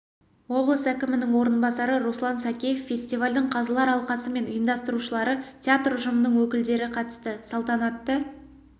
облыс әкімінің орынбасары руслан сакеев фестивальдің қазылар алқасы мен ұйымдастырушылары театр ұжымының өкілдері қатысты салтанатты